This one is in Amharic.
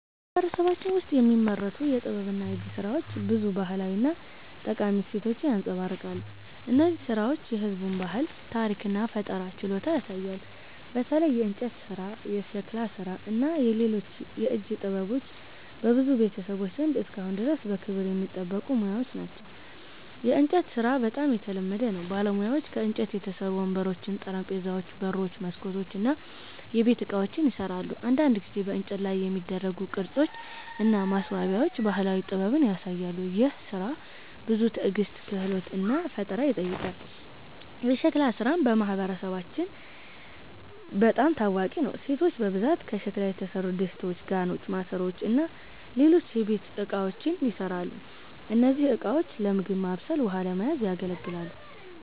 በማህበረሰባችን ውስጥ የሚመረቱ የጥበብና የእጅ ሥራዎች ብዙ ባህላዊ እና ጠቃሚ እሴቶችን ያንጸባርቃሉ። እነዚህ ሥራዎች የህዝቡን ባህል፣ ታሪክ እና ፈጠራ ችሎታ ያሳያሉ። በተለይ የእንጨት ሥራ፣ የሸክላ ሥራ እና ሌሎች የእጅ ጥበቦች በብዙ ቤተሰቦች ዘንድ እስካሁን ድረስ በክብር የሚጠበቁ ሙያዎች ናቸው። የእንጨት ሥራ በጣም የተለመደ ነው። ባለሙያዎች ከእንጨት የተሠሩ ወንበሮች፣ ጠረጴዛዎች፣ በሮች፣ መስኮቶች እና የቤት ዕቃዎችን ይሠራሉ። አንዳንድ ጊዜ በእንጨት ላይ የሚደረጉ ቅርጾች እና ማስዋቢያዎች ባህላዊ ጥበብን ያሳያሉ። ይህ ሥራ ብዙ ትዕግስት፣ ክህሎት እና ፈጠራ ይጠይቃል። የሸክላ ሥራም በማህበረሰባችን በጣም ታዋቂ ነው። ሴቶች በብዛት ከሸክላ የተሠሩ ድስቶች፣ ጋኖች፣ ማሰሮዎች እና ሌሎች የቤት እቃዎችን ይሠራሉ። እነዚህ ዕቃዎች ለምግብ ማብሰል ውሃ ለመያዝ ያገለግላል